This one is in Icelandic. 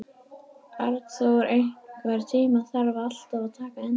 Arnþór, einhvern tímann þarf allt að taka enda.